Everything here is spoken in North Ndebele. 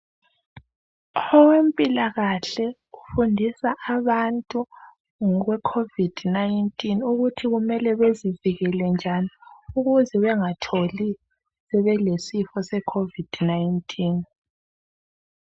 Owempilakahle ufundisa abantu ngekhovidi ukuthi kumele bazivikele njani ukuze bengazitholi belalesisifo.